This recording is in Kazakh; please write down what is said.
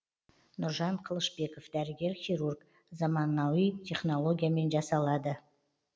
нұржан қылышбеков дәрігер хирург замануи технологиямен жасалады